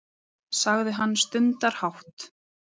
sagði hann stundarhátt.